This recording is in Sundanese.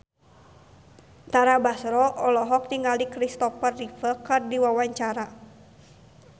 Tara Basro olohok ningali Kristopher Reeve keur diwawancara